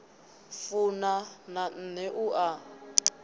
funa na nṋe u a